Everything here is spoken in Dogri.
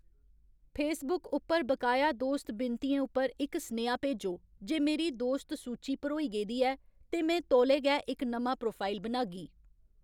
फेसबुक उप्पर बकाया दोस्त विनतियें उप्पर इक सनेहा भेजो जे मेरी दोस्त सूची भरोई गेदी ऐ ते में तौले गै इक नमां प्रोफाइल बनागी